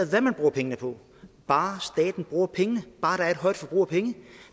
hvad man bruger pengene på bare staten bruger pengene bare der er et højt forbrug af penge